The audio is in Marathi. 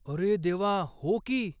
अरे देवा, हो की !